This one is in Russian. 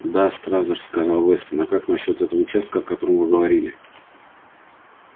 да стразерс сказал вестон а как насчёт этого участка о котором вы говорили